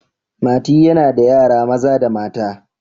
mati yana da yara Maza da mata